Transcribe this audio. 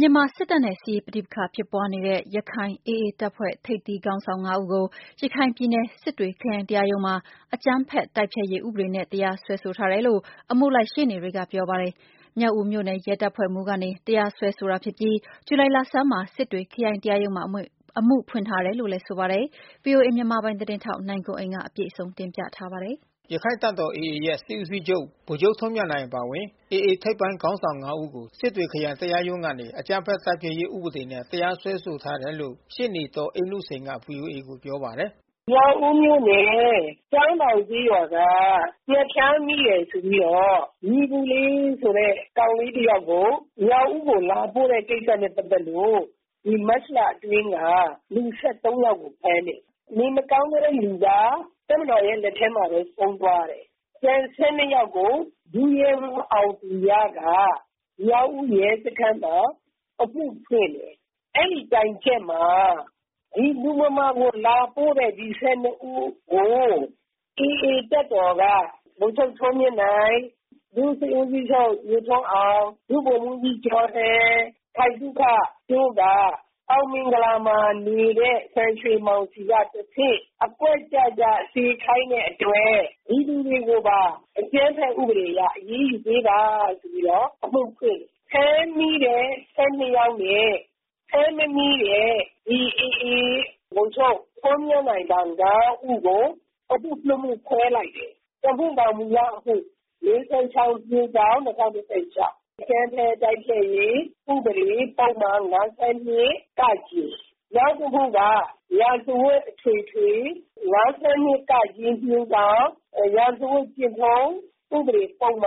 မြန်မာစစ်တပ်နဲ့ စစ်ရေးပဋိပက္ခ ဖြစ်ပွားနေတဲ့ ရခိုင် AA တပ်ဖွဲ့ထိပ်သီးခေါင်းဆောင် ငါး ဦးကို ရခိုင်ပြည်နယ် စစ်တွေ ခရိုင်တရားရုံးမှာ အကြမ်းဖက်တိုက်ဖျက်ရေး ဥပဒေနဲ့ တရားစွဲဆိုခံထားရတယ်လို့ အမှုလိုက်ရှေ့နေတွေက ပြောပါတယ်။ မြောက်ဦးမြို့နယ် ရဲတပ်ဖွဲ့မှူးကနေ တရားစွဲဆိုတာဖြစ်ပြီး ဇူလိုင်လဆန်းမှာ စစ်တွေခရိုင်တရားရုံးမှာ အမှုဖွင့် ထားတယ်လို့လည်း ဆိုပါတယ်။ ဗွီအိုအေမြန်မာပိုင်း သတင်းထောက် နိုင်ကွန်းအိန် စုံစမ်းမေးမြန်းထားပါတယ်။ ရခိုင့်တပ်တော် AA ရဲ့စစ်ဦးချုပ် ဗိုလ်ချုပ်ထွန်းမြတ်နိုင် အပါအဝင် AA ထိပ်ပိုင်းခေါင်းဆောင် ငါး ဦးကို စစ်တွေ ခရိုင် တရားရုံးကနေ အကြမ်းဖက်တိုက်ဖျက်ရေး ဥပဒေနဲ့ တရားစွဲဆိုထားတယ်လို့ ရှေ့နေ ဒေါ်အေးနုစိန်က ဗွီအိုအေကို ပြောပါတယ်။ “မြောက်ဦးမြို့နယ် ကျောင်းတောင်ကျေးရွာက ငှက်ဖျားမိတယ်ဆိုပြီးတော့ ညီပုလေးဆိုတဲ့ ကောင်လေး တ ယောက်ကို မြောက်ဦးကို လာပို့တဲ့ကိစ္စနဲ့ ပတ်သက်လို့ ဒီမတ်လအတွင်းက လူ ၁၃ ယောက်ကို ဖမ်းတယ်။ နေမကောင်းတဲ့ လူက တပ်မတော်ရဲ့ လက်ထဲမှာပဲ ဆုံးသွားတယ်။ ကျန် ၁၂ ယောက်ကို ဒုရဲမှူးအောင်သူရက မြောက်ဦး ရဲစခန်းမှာ အမှုဖွင့်တယ်။ အဲဒီတိုင်ချက်မှာ ဒီလူမမာကို လာပို့တဲ့ ဒီ ၁၂ ဦးကို AA တပ်မတော်က ဗိုလ်ချုပ်ထွန်းမြတ်နိုင်၊ ဒုစစ်ဦးချုပ် ညိုထွန်းအောင်၊ ဗိုလ်မှူးကြီး ကျော်ဟန်၊ ခိုင်သုခတို့က အောင်မင်္ဂလာမှာ နေတဲ့ စံရွှေမောင်ဆီက တဆင့် အကွက်ကျကျ စေခိုင်း တဲ့အတွက် ဒီလူတွေကိုပါ အကြမ်းဖက်ဥပဒေအရ အရေးယူပေးပါဆိုပြီးတော့ အမှုဖွင့်တယ်။ ဖမ်းမိတဲ့ ၁၂ ယောက်နဲ့ ဖမ်းမမိတဲ့ ဒီ AA ဗိုလ်ချုပ်ထွန်းမြတ်နိုင်အပါ ငါး ဦးကို အမှု နှစ် မှု ခွဲလိုက်တယ်။ တမှုက မူလ အမှု ၄၉၆/၂၀၁၆။ အကြမ်းဖက် တိုက်ဖျက်ရေး ဥပဒေပုဒ်မ ၅၂ က ။ နောက်တမှုက ရာဇဝတ်အထွေထွေ ၅၂ က/ ရာဇဝတ် ဥပဒေကျင့်ထုံး ဥပဒေပုဒ်မ